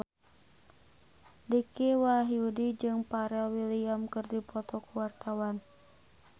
Dicky Wahyudi jeung Pharrell Williams keur dipoto ku wartawan